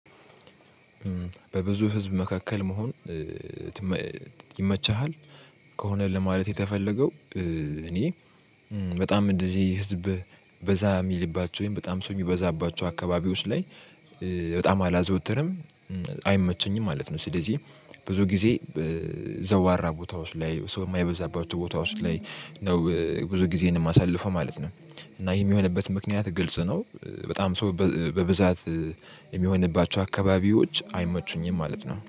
በብዙ ህዝብ መካከል መሆን ይመቻሃል? ከሆነ ለማለት የተፈለገው እኔ በጣም እንደዚህ ህዝብ በዛ የሚልባቸው በጣም ሰው የሚበዛባቸው አካባቢዎች ላይ በጣም አላዘወትርም አይመቸኝም ማለት ነው። ስለዚህ ብዙ ጊዜ ዘዋራ ቦታ ውስጥ ላይ ሰው የማይበዛባቸው ቦታዎች ላይ ነው ብዙ ጊዜን የማሳልፈው ማለት ነው። እና ይሄ የሚሆንበት ምክንያት ግልጽ ነው በጣም ሰው በብዛት የሚሆንባቸው አካባቢዎች አይመቹኝም ማለት ነው